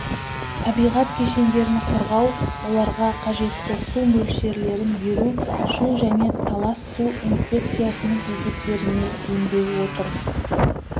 табиғат кешендерін қорғау оларға қажетті су мөлшерлерін беру шу және талас су инспекциясының есептеріне енбей отыр